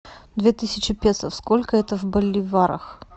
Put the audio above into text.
две тысячи песо сколько это в боливарах